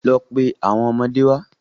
Lọ pe àwọn ọmọdé wá.